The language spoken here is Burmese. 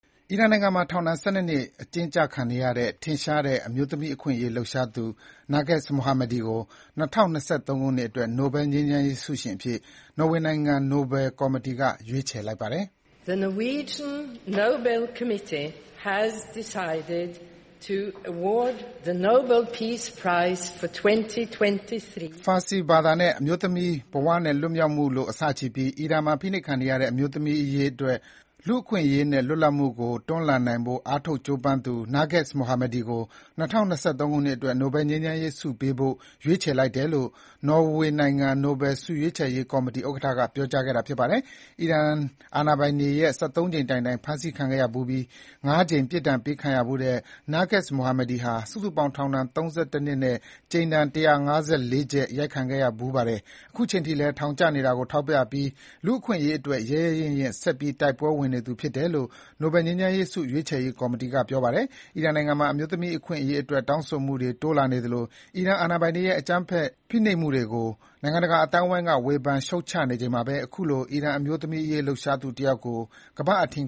အီရန်နိုင်ငံမှာ ထောင်ဒဏ် ၁၂ နှစ် အကျဉ်းချခံနေရတဲ့ ထင်ရှားတဲ့ အမျိုးသမီး အခွင့်အရေးလှုပ်ရှားသူ Narges Mohammadi ကို ၂၀၂၃ ခုနှစ်အတွက် နိုဘယ်ငြိမ်းချမ်းရေးဆုရှင်အဖြစ် နော်ဝေနိုင်ငံ နိုဘယ်ကော်မတီက ရွေးချယ်လိုက်ပါတယ်။ Farsi ဘာသာနဲ့ အမျိုးသမီး၊ ဘဝနဲ့ လွတ်မြောက်မှုလို့ အစချီပြီး၊ အီရန်မှာ ဖိနှိပ်ခံနေရတဲ့ အမျိုးသမီးတွေအရေး၊ အားလုံးအတွက် လူ့အခွင့်အရေးနဲ့ လွတ်လပ်မှုကို တွန်းလှန်နိုင်ဖို့ အားထုတ်ကြိုးပမ်းသူ Narges Mohammadi ကို ၂၀၂၃ ခုနှစ်အတွက် နိုဘယ်ငြိမ်းချမ်းဆုပေးဖို့ ရွေးချယ်လိုက်တယ်လို့ နော်ဝေးနိုင်ငံ နိုဘယ်လ်ဆုရွေးချယ်ရေးကော်မတီဥက္ကဋ္ဌက ပြောကြားခဲ့တာဖြစ်ပါတယ်။ အီရန်အာဏာပိုင်တွေရဲ့ ၁၃ ကြိမ်တိုင်တိုင် ဖမ်းဆီးခံခဲ့ရဖူးပြီး၊ ၅ ကြိမ် ပြစ်ဒဏ်ပေးခံရဖူးတဲ့ Narges Mohammadi ဟာ စုစုပေါင်း ထောင်ဒဏ် ၃၁ နှစ်နဲ့ ကြိမ်ဒဏ် ၁၅၄ ချက်ရိုက်ခံခဲ့ရဖူးပါတယ်။ ခုချိန်ထိလည်း ထောင်ကျနေတာကို ထောက်ပြပြီး အခွင့်အရေးအတွက် ရဲရဲရင့်ရင့် ဆက်ပြီးတိုက်ပွဲဝင်နေသူဖြစ်တယ်လို့ နိုဘယ်ငြိမ်းချမ်းရေးဆုရွေးချယ်ရေး ကော်မတီက ပြောပါတယ်။ အီရန်နိုင်ငံမှာ အမျိုးသမီးအခွင့်အရေးအတွက် တောင်းဆိုမှုတွေတိုးလာနေသလို အီရန် အာဏာပိုင်တွေရဲ့ အကြမ်းဖက် ဖိနှိပ်မှုတွေကို နိုင်ငံတကာအသိုင်းအဝိုင်းက ဝေဖန်ရှုတ်ချနေချိန်မှာပဲ အခုလို အီရန်အမျိုးသမီးရေးလှုပ်ရှားသူတယောက်ကို ကမ္ဘာ့အထင်